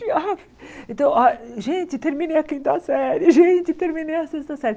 E ah então, gente, terminei a quinta série, gente, terminei a sexta série.